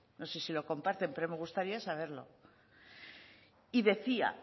no sé si lo comparten pero me gustaría saberlo y decía